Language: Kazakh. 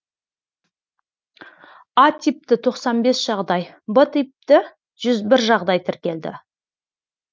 а типті тоқсан бес жағдай б типті жүз бір жағдай тіркелді